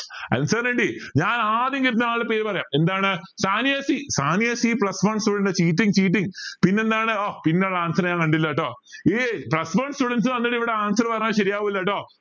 Allen sir ന് കിട്ടി ഞാൻ ആദ്യം കിട്ടണ ആൾടെ പേര് പറയാം എന്താണ് സാനിയ സി സാനിയ സി പിന്നെന്താണ് ആ പിന്നൊരു answer ഞാൻ കണ്ടില്ല ട്ടോ ഈ plus one students വന്നിട്ട് ഇവിടെ answers പറഞ്ഞ ശരിയാവില്ലട്ടോ